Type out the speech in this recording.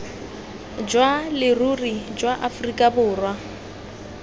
jwa leruri jwa aforika borwa